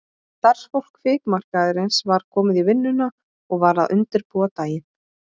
Starfsfólk fikmarkaðarins var komið í vinnuna og var að undirbúa daginn.